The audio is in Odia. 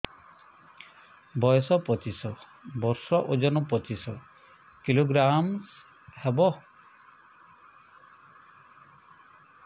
ବୟସ ପଚିଶ ବର୍ଷ ଓଜନ ପଚିଶ କିଲୋଗ୍ରାମସ ହବ